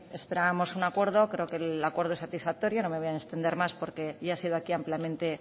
esperábamos un acuerdo creo que el acuerdo es satisfactorio no me ve voy a extender más porque ya ha sido aquí ampliamente